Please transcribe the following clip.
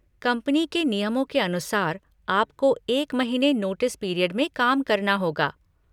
Company के नियमों के अनुसार आपको एक महीने नोटिस पीरियड में काम करना होगा।